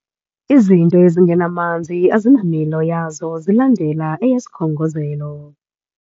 Izinto ezingamanzi azinamilo yazo zilandela eyesikhongozelo.